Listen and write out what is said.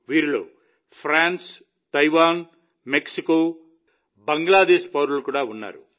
వీరిలో France Taiwan Mexico Bangladesh పౌరులు కూడా ఉన్నారు